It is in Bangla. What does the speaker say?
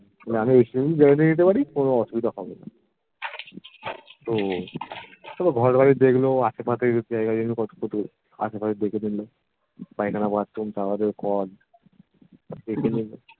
আমি নিশ্চিন্ত জবাব দিতে পারি কোনো অসুবিধা হবেনা তো তবে ঘরবাড়ি দেখলো আশেপাশের জায়গা জমি কতটুকু আশেপাশে দেখে নিলো পায়খানা bathroom shower এর call দেখে নিলো